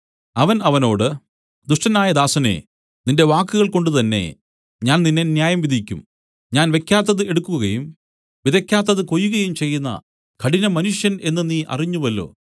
അവൻ അവനോട് ദുഷ്ടനായ ദാസനേ നിന്റെ വാക്കുകൾ കൊണ്ടുതന്നേ ഞാൻ നിന്നെ ന്യായംവിധിക്കും ഞാൻ വെയ്ക്കാത്തത് എടുക്കുകയും വിതയ്ക്കാത്തത് കൊയ്യുകയും ചെയ്യുന്ന കഠിനമനുഷ്യൻ എന്നു നീ അറിഞ്ഞുവല്ലോ